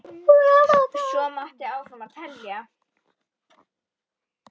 Og svo mætti áfram telja.